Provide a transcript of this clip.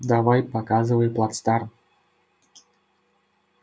давай показывай плацдарм